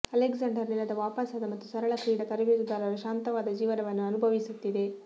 Alexander ನೆಲದ ವಾಪಾಸಾದ ಮತ್ತು ಸರಳ ಕ್ರೀಡಾ ತರಬೇತುದಾರ ಶಾಂತವಾದ ಜೀವನವನ್ನು ಅನುಭವಿಸುತ್ತಿದೆ